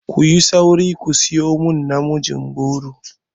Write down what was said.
Ku yi sauri ku sayo min namijin goro!